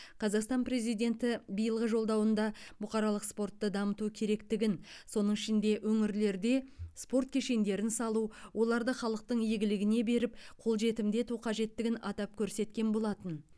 қазақстан президенті биылғы жолдауында бұқаралық спортты дамыту керектігін соның ішінде өңірлерде спорт кешендерін салу оларды халықтың игілігіне беріп қолжетімді ету қажеттігін атап көрсеткен болатын